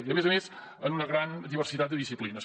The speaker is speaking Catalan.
i a més a més en una gran diversitat de disciplines